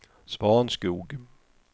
Svanskog